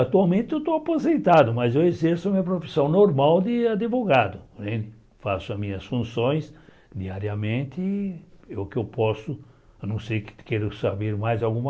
Atualmente eu estou aposentado, mas eu exerço minha profissão normal de advogado né, faço as minhas funções diariamente, eu que eu posso, a não ser que queira saber mais alguma.